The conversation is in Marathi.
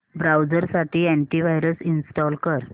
ब्राऊझर साठी अॅंटी वायरस इंस्टॉल कर